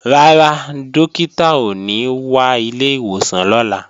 Rárá, Dókítà ò ní wá ilé ìwòsàn lọ́la